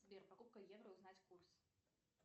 сбер покупка евро узнать курс